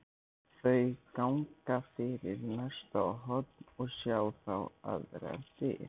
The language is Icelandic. Þau ganga fyrir næsta horn og sjá þá aðrar dyr.